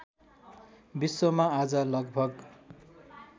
विश्वमा आज लगभग